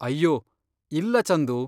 ಅಯ್ಯೋ, ಇಲ್ಲ ಚಂದು.